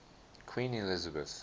queen elizabeth